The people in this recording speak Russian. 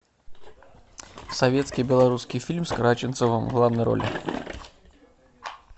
советский белорусский фильм с караченцовым в главной роли